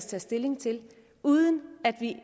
tage stilling til uden at vi